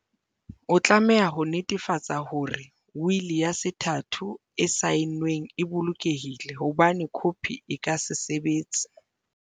O tlameha ho netefatsa hore wili ya sethatho e saenweng e bolokehile, ho bane khopi e ka se sebetse.